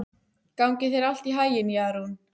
Gangi þér allt í haginn, Jarún.